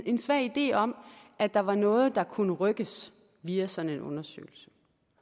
en svag idé om at der var noget der kunne rykkes via sådan en undersøgelse